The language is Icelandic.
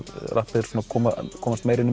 komast meira inn í